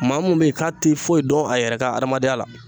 Maa min bɛ yen k'a tɛ foyi dɔn a yɛrɛ ka adamadenya la